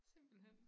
Simpelthen